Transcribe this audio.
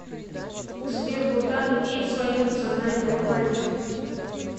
сбер бутан имеет свою национальную валюту